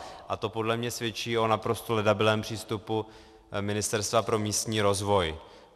A to podle mě svědčí o naprosto ledabylém přístupu Ministerstva pro místní rozvoj.